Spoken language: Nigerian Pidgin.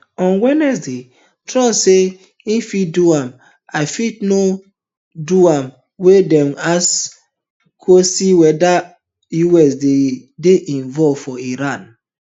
on wednesday trump say i fit do am i fit no do am wen dem ask am kwesion weda us go dey involve for iran